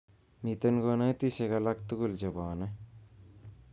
Miten konsatishek alatugul chebone